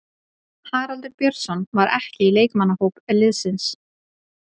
Haraldur Björnsson var ekki í leikmannahóp liðsins.